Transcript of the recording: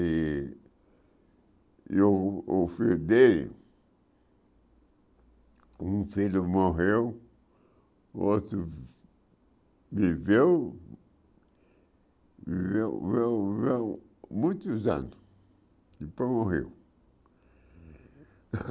E e o o filho dele, um filho morreu, o outro viveu muitos anos, depois morreu.